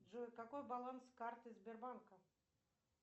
джой какой баланс карты сбербанка